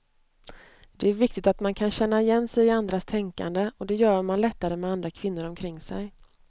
Det är viktigt att man kan känna igen sig i andras tänkande, och det gör man lättare med andra kvinnor omkring sig.